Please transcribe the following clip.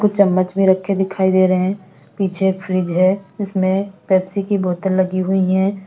कुछ चम्मच भी रखे दिखाई दे रहे हैं पीछे फ्रिज है इसमें पेप्सी की बोतल लगी हुई है।